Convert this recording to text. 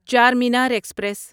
Charminar express